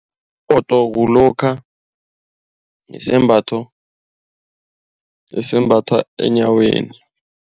kulokha isembatho esembathwa enyaweni.